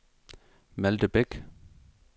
Malthe Bek